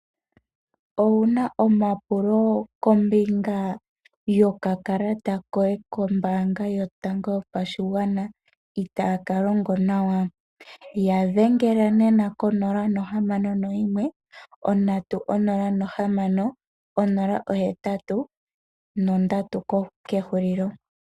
Owu na omapulo kombinga yokakalata koye kombaanga yotango yopashigwana itaaka longo nawa? Ya dhengela nena ko 061 306083.